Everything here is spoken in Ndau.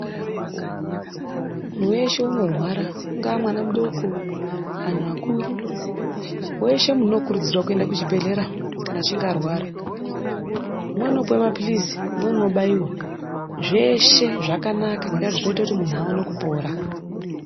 Munhu weshe unorwara ungava mwana mudoko anhu akuru, weshe muntu unokurudzirwa kuende kuchibhedhlera kana achinge arwara, umweni unopiwe maphilizi umweni unobaiwa. Zveshe zvakanaka ngendaa yekuti zvinoite kuti mundu aone kupora.